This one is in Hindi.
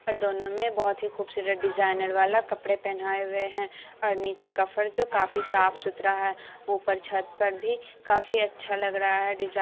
दोनों में बोहत ही खूबसूरत डिज़ाइनर वाला कपड़े पहनाए हुये है। और नीचे का फर्श काफी साफ-सुथरा है। उपर छत पर भी काफी अच्छा लग रहा है डिज़ा --